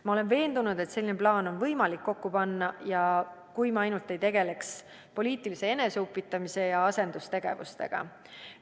Ma olen veendunud, et selline plaan on võimalik kokku panna, kui me ainult ei tegeleks poliitilise eneseupitamise ja asendustegevustega.